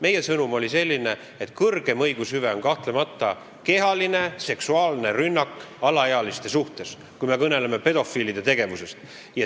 Meie sõnum oli selline, et kõrgem õigushüve on kahtlemata kehaline seksuaalne rünnak alaealiste suhtes, kui me kõneleme pedofiilide tegevusest.